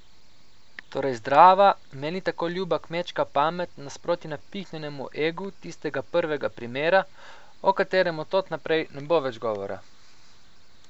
Torej zdrava, meni tako ljuba kmečka pamet nasproti napihnjenemu egu tistega prvega primera, o katerem od tod naprej ne bo več govora.